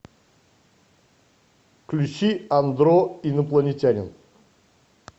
включи андро инопланетянин